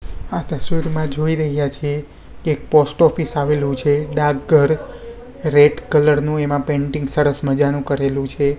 આ તસ્વીરમાં જોઈ રહ્યા છે કે એક પોસ્ટ ઓફિસ આવેલું છે ડાક ઘર રેડ કલર નું એમા પેન્ટિંગ સરસ મજાનું કરેલુ છે.